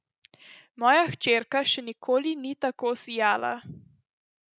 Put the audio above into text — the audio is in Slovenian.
Moja hčerka še nikoli ni tako sijala.